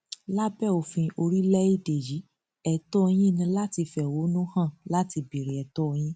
lábẹ òfin orílẹèdè yìí ètò yín ni láti fẹhónú hàn láti béèrè ètò yín